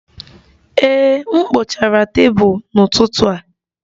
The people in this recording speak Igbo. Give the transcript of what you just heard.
Ee, m kpochara tebụl n'ụtụtụ a